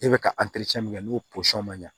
E bɛ ka min kɛ n'o posɔn man ɲa